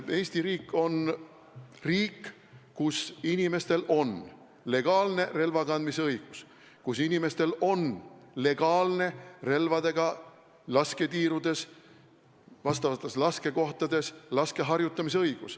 Eesti riik on riik, kus inimestel on legaalne relvakandmisõigus, kus inimestel on legaalne õigus relvadega lasketiirudes, vastavates laskekohtades laskmist harjutada.